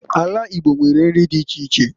Ala Igbo nwere nri di iche iche.